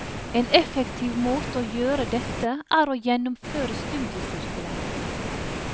En effektiv måte å gjøre dette er å gjennomføre studiesirkelen.